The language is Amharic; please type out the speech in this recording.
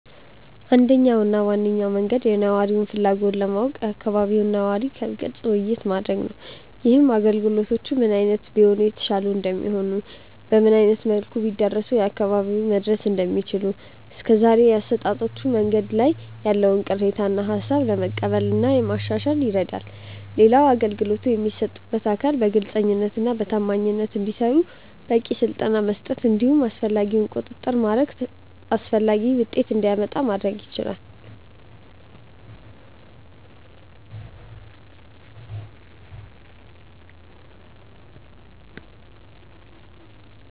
አንደኛው እና ዋነኛው መንገድ የነዋሪውን ፍላጎት ለማወቅ ከአካባቢው ነዋሪ ጋር ግልጽ ውይይት ማድረግ ነው። ይህም አገልግሎቶቹ ምን አይነት ቢሆኑ የተሻሉ እንደሚሆኑ፤ በምን አይነት መልኩ ቢዳረሱ ለአካባቢው መድረስ እንደሚችሉ፤ እስከዛሬ በአሰጣጦቹ መንገዶች ላይ ያለውን ቅሬታ እና ሃሳብ ለመቀበል እና ለማሻሻል ይረዳል። ሌላው አገልግሎቶቹን የሚሰጡት አካል በግልጸኝነት እና በታማኝነት እንዲሰሩ በቂ ስልጠና በመስጠት እንዲሁም አስፈላጊውን ቁጥጥር በማድረግ ተፈላጊው ውጤት እንዲመጣ ማድረግ ይቻላል።